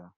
um